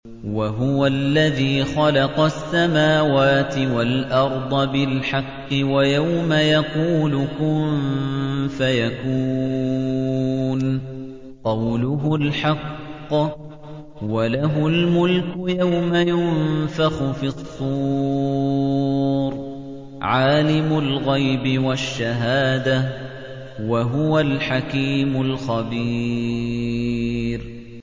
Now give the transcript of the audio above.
وَهُوَ الَّذِي خَلَقَ السَّمَاوَاتِ وَالْأَرْضَ بِالْحَقِّ ۖ وَيَوْمَ يَقُولُ كُن فَيَكُونُ ۚ قَوْلُهُ الْحَقُّ ۚ وَلَهُ الْمُلْكُ يَوْمَ يُنفَخُ فِي الصُّورِ ۚ عَالِمُ الْغَيْبِ وَالشَّهَادَةِ ۚ وَهُوَ الْحَكِيمُ الْخَبِيرُ